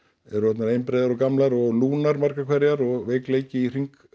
eru orðnar einbreiðar og gamlar og lúnar margar hverjar og veikleiki